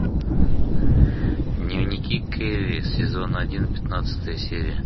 дневники кэрри сезон один пятнадцатая серия